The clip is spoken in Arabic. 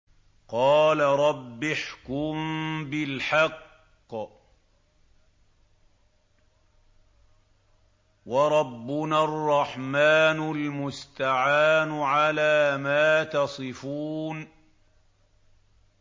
قَالَ رَبِّ احْكُم بِالْحَقِّ ۗ وَرَبُّنَا الرَّحْمَٰنُ الْمُسْتَعَانُ عَلَىٰ مَا تَصِفُونَ